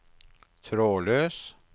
trådløs